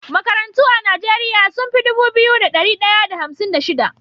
Makarantu a nigeria sunfi Dubu biyu da dari daya da hamsin da shida